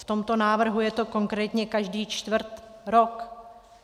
V tomto návrhu je to konkrétně každý čtvrt rok.